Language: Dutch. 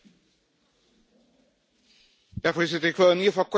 Voorzitter, ik wil in ieder geval kort reageren op wat zojuist gezegd werd.